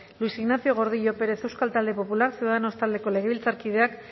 luis ignacio gordillo pérez euskal talde popular ciudadanos taldeko legebiltzarkideak